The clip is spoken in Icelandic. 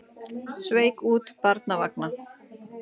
Sveik út barnavagna